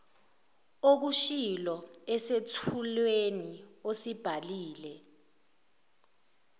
okushilo esethulweni osibhalile